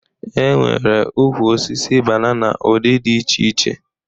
E nwere ukwu osisi banana ụdị di iche iche